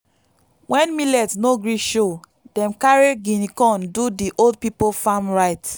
when millet no gree show dem carry guinea corn do the old people farm rites.